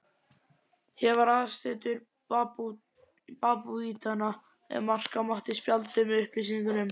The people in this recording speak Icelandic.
Hér var aðsetur babúítanna, ef marka mátti spjaldið með upplýsingunum.